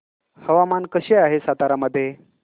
हवामान कसे आहे सातारा मध्ये